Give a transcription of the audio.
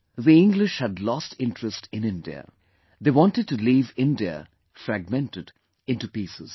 The English had lost interest in India; they wanted to leave India fragmented into pieces